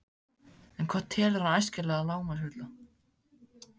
En hvað telur hann æskilegan lágmarksfjölda?